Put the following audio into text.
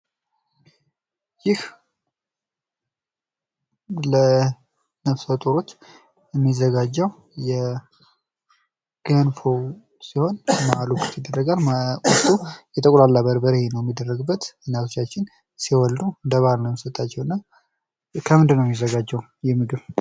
ይህ ለነፍሰጡሮች የሚዘጋጀው ገንፎ ሲሆን መሀሉ ክፍት ይደረጋል ውስጡ የተቁላላ በርበሬ ነው የሚደረግበት እናቶቻችን ሲወልዱ እንደ ባህል ነው የሚሰጣቸው እና ከምንድነው የሚዘጋጀው ይህ ምግብ?